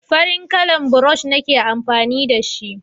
farin kalan burosh nike amfani da shi